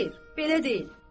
Xeyr, belə deyil.